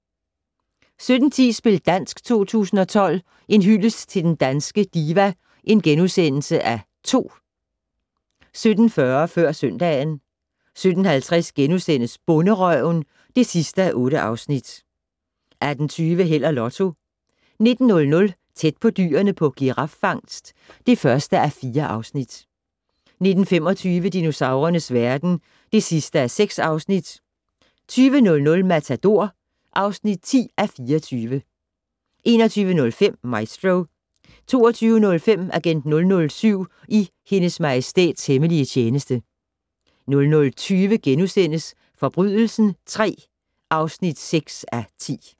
17:10: Spil dansk 2012 - En hyldest til den danske diva (2) * 17:40: Før søndagen 17:50: Bonderøven (8:8)* 18:20: Held og Lotto 19:00: Tæt på dyrene på giraffangst (1:4) 19:25: Dinosaurernes verden (6:6) 20:00: Matador (10:24) 21:05: Maestro 22:05: Agent 007 i Hendes Majestæts hemmelige tjeneste 00:20: Forbrydelsen III (6:10)*